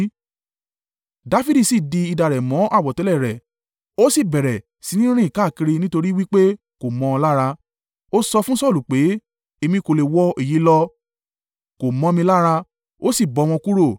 Dafidi si di idà rẹ̀ mọ́ àwọ̀tẹ́lẹ̀ rẹ̀ ó sì bẹ̀rẹ̀ sí ní rìn káàkiri nítorí wí pé kò mọ́ ọ lára. Ó sọ fún Saulu pé, “Èmi kò le wọ èyí lọ, kò mọ́ mi lára.” Ó sì bọ́ wọn kúrò.